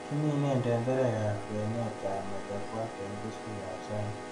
Kimine tenderekab kwenetab machakwat en keswekab sana.